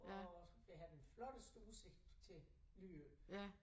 Og vi har den flotteste udsigt til Lyø